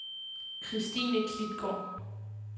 Kristine Klitgaard